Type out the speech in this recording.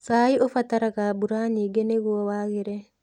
Cai ũbataraga mbura nyingĩ nĩ guo wagĩre.